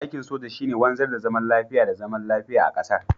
aikin soja shi ne wanzar da zaman lafiya da zaman lafiya a ƙasar